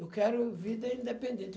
Eu quero vida independente.